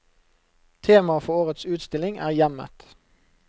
Tema for årets utstilling er hjemmet.